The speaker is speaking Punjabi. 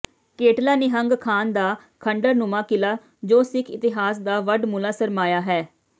ਕੇਟਲਾ ਨਿਹੰਗ ਖਾਨ ਦਾ ਖੰਡਰਨੁਮਾ ਕਿਲਾ ਜੋ ਸਿਖ ਇਤਿਹਾਸ ਦਾ ਵਡਮੁਲਾ ਸਰਮਾਇਆ ਹੈ